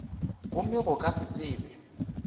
gomme go ka se tsebe